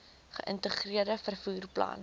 geïntegreerde vervoer plan